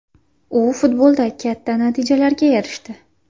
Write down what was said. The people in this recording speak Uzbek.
U futbolda katta natijalarga erishdi.